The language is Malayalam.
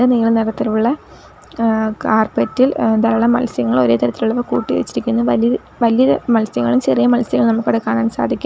നീല നിറത്തിലുള്ള ഏഹ് കാർപെറ്റ് ഇൽ ധാരാളം മത്സ്യങ്ങൾ ഒരേ തരത്തിലുള്ളവ കൂട്ടി വച്ചിരിക്കുന്നു വലിയ വലിയ മത്സ്യങ്ങളും ചെറിയ മത്സ്യങ്ങളും നമുക്കിവിടെ കാണാൻ സാധിക്കും.